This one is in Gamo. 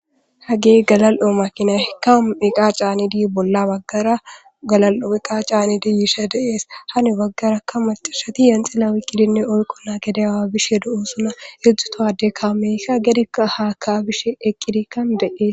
hagey galal7o makinay ka iqa caanidi bolla baggara galal7o iqa caanidi yisha deees hanu baggara ka matashati yenxila wiqqidinne oyqo naa gede yawa bishe do7osuna edzdzutoade kaameyka gedea haaka bishe eqqidikkan de7ees